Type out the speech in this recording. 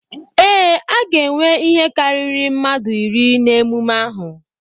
Ee, a ga-enwe ihe karịrị mmadụ iri na emume ahụ.